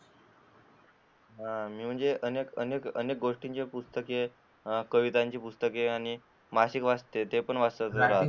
मी तर अनेक म्हणजे गोष्टीची पुस्तके, कवितांची पुस्तके आणि मासिके वाचतो.